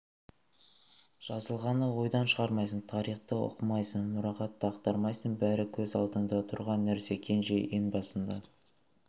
жазылғаны ойдан шығармайсың тарихты оқымайсың мұрағатты ақтармайсың бәрі көз алдыңда тұрған нәрсе кенже ең басында